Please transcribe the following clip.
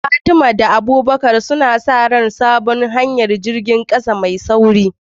Fatima da Abubakar suna sa ran sabon hanyar jirgin kasa mai sauri.